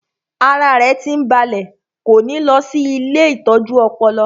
Ara rẹ̀ tí ń balẹ̀ kò ní lọ sí ilée ìtọ́jú ọpọlọ